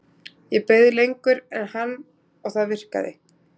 Ég beið lengur en hann og það virkaði.